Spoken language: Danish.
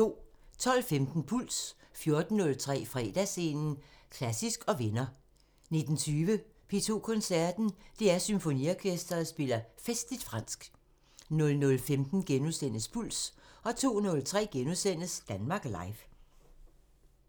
12:15: Puls 14:03: Fredagsscenen – Klassisk & venner 19:20: P2 Koncerten – DR Symfoniorkestret spiller festligt fransk 00:15: Puls * 02:03: Danmark Live *